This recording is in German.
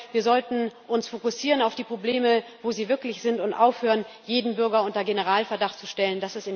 Ich glaube, wir sollten uns fokussieren auf die Probleme, wo sie wirklich sind, und aufhören, jeden Bürger unter Generalverdacht zu stellen.